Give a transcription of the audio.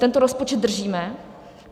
Tento rozpočet držíme.